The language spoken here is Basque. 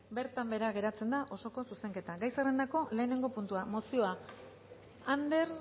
bertan behera geratzen da osoko zuzenketa gai zerrendako lehenengo puntua mozioa ander